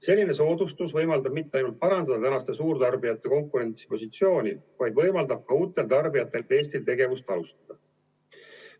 Selline soodustus võimaldab mitte ainult parandada tänaste suurtarbijate konkurentsipositsiooni, vaid võimaldab ka uutel tarbijatel Eestis tegevust alustada.